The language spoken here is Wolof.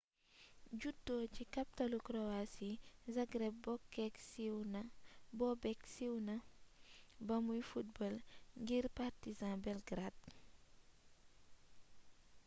juddo ci kaptalu kroasi zagreb bobek siiw na ba muy football ngir partizan belgrade